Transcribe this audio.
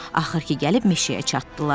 Axır ki gəlib meşəyə çatdılar.